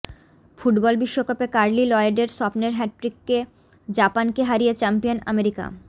football বিশ্বকাপে Carli লয়েডের স্বপ্নের হ্যাটট্রিকে জাপানকে হারিয়ে চ্যাম্পিয়ন আমেরিকা